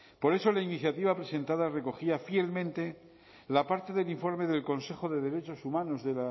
por eso la iniciativa presentada recogía fielmente la parte del informe del consejo de derechos humanos de